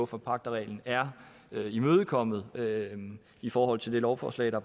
forpagterreglen er blevet imødekommet i forhold til det lovforslag der